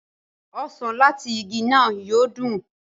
osàn lati ìgi náà yóò dun.